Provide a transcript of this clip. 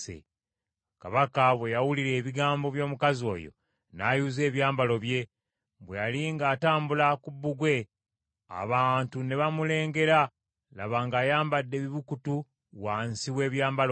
Kabaka bwe yawulira ebigambo by’omukazi oyo, n’ayuza ebyambalo bye. Bwe yali ng’atambula ku bbugwe, abantu ne bamulengera, laba ng’ayambadde ebibukutu wansi w’ebyambalo bye.